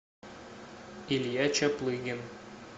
илья чаплыгин